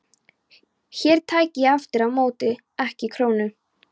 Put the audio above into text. Hér tæki ég aftur á móti ekki krónu.